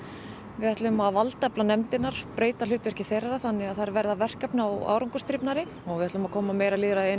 við ætlum að valdefla nefndirnar breyta hlutverki þeirra þannig að þær verði verkefna og og við ætlum að koma meira lýðræði inn